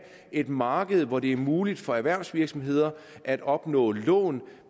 et marked hvor det er muligt for erhvervsvirksomheder at opnå lån